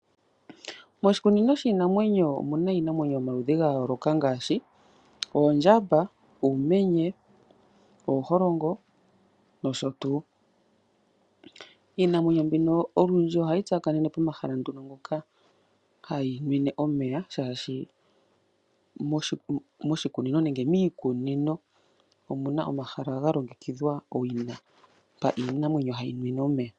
Moshikunino shiinamwenyo omuna iinamwenyo yomaludhi ga yooloka ngaashi oondjamba, oomenye, ooholongo nosho tuu. Iinamwenyo mbino olundji ohayi tsakanene pomahala nduno ngoka hayi nwine omeya ,shaashi moshikunino nenge miikunino omuna omahala ga longekidhwa owina mpa iinamwenyo hayi nwine omeya.